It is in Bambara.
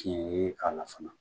Tiɲɛ yee k'a la fana